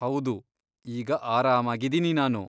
ಹೌದು, ಈಗ ಆರಾಮಾಗಿದೀನಿ ನಾನು.